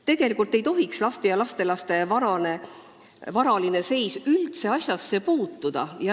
Tegelikult ei tohiks laste ja lastelaste varaline seis üldse asjasse puutuda.